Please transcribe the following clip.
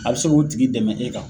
A be se k'o tigi dɛmɛ e kan.